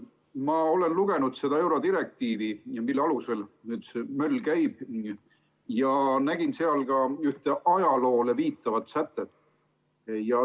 Ma olen lugenud seda eurodirektiivi, mille alusel nüüd see möll käib, ja nägin seal ka ühte ajaloole viitavat sätet.